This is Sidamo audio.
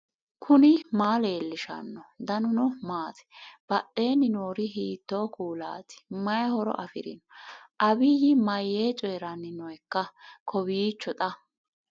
knuni maa leellishanno ? danano maati ? badheenni noori hiitto kuulaati ? mayi horo afirino ? abiyyi mayyee coyranni nooikka kowiicho xa